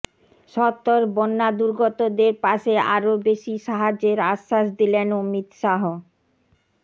সত্ত্বর বন্যা দুর্গতদের পাশে আরও বেশি সাহায্যের আশ্বাস দিলেন অমিত শাহ